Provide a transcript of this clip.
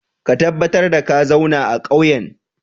Ka tabbatar da ka zauna a ƙauyen!